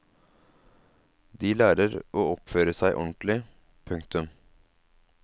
De lærer å oppføre seg ordentlig. punktum